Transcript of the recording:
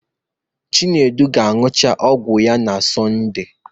Chinedu ga-agwụcha ọgwụ ya na Sọnde